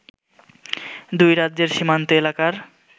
দুই রাজ্যের সীমান্ত এলাকার